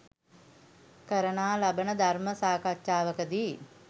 කරනා ලබන ධර්ම සාකච්ඡාවකදී